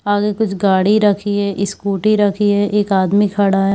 आगे कुछ गाड़ी रखी है इसकूटी रखी है एक आदमी खड़ा है।